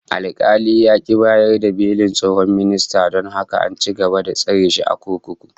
Alkali ya ki bayar da belin tsohon ministan, don haka an ci gaba da tsare shi a kurkuku